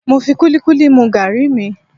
Mo fi kúlíkúlí mu gàrí mi